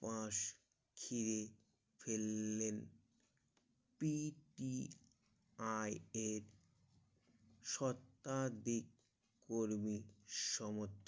মাস চিরে ফেলেন P T I A সোটা দি করবে সমর্থ